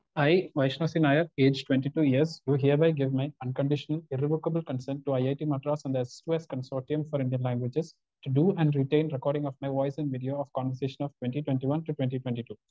Speaker 1 I, Vaishnav C Nair age years do hereby give my unconditional irrevocable consent to IIT Madras and the S two S consortium for Indian languages to do and written recording of my voice and video of conversation of twenty twenty one to twenty twenty two.